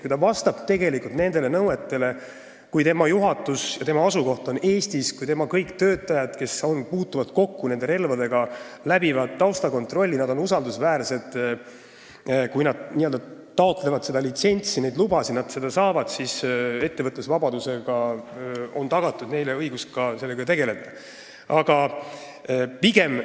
Kui ta vastab nendele nõuetele, kui tema juhatus ja asukoht on Eestis, kui kõik tema töötajad, kes puutuvad kokku relvadega, läbivad taustakontrolli, ehk nad on usaldusväärsed, kui ta taotleb litsentsi ja neid lubasid ning ta need ka saab, siis on talle ettevõtlusvabadusega tagatud õigus selle valdkonnaga tegeleda.